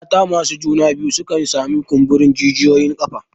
Mata masu juna biyu sukan sami kumburin jijiyoyin ƙafa.